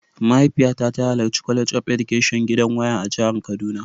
Mahaifiyata ta halarci College of Education gidan waya a jihar kaduna.